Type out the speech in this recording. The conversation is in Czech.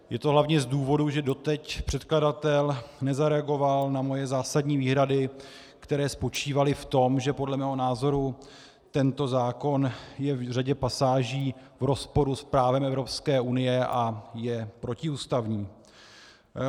Je to hlavně z důvodu, že doteď předkladatel nezareagoval na moje zásadní výhrady, které spočívaly v tom, že podle mého názoru tento zákon je v řadě pasáží v rozporu s právem Evropské unie a je protiústavní.